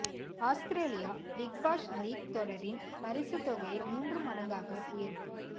Australia Big Bash League தொடரின் பரிசுத் தொகையை மூன்று மடங்காக உயர்வு